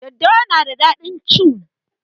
Daddawa na da daɗin cu